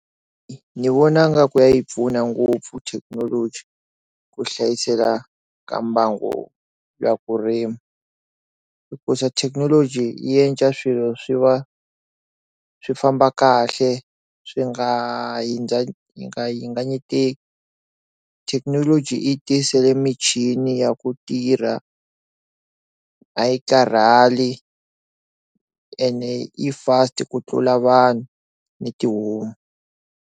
Ndzi vona ngaku yi ni pfuna ngopfu thekinoloji ku hlayisela ka mbangu ya vurimi hi ku swa thekinoloji yi endla swilo swi va swi famba kahle swi nga thekinoloji i yi tisele michini ya ku tirha a yi karhali ene i fast ku tlula vanhu ni tihomu.